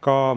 Ka